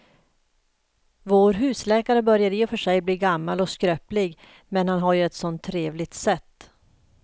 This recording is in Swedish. Vår husläkare börjar i och för sig bli gammal och skröplig, men han har ju ett sådant trevligt sätt!